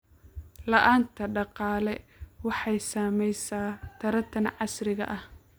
La'aanta dhaqaale waxay saamaysaa taranta casriga ah.